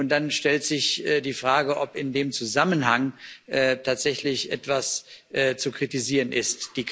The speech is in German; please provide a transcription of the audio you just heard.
Dann stellt sich die Frage, ob in dem Zusammenhang tatsächlich etwas zu kritisieren ist.